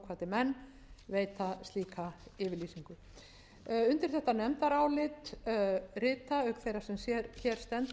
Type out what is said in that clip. menn veita slíka yfirlýsingu undir þetta nefndarálit rita auk þeirrar sem hér sendur magnús orri